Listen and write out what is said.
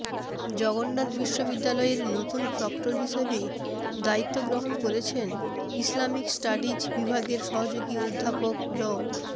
জগন্নাথ বিশ্ববিদ্যালয়ের নতুন প্রক্টর হিসেবে দায়িত্ব গ্রহণ করেছেন ইসলামিক স্টাডিজ বিভাগের সহযোগী অধ্যাপক ড